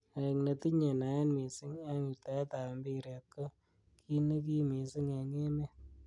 Aek netinyei naet missing eng wirtaet ab mpiret ko ki nekim missing eng emet.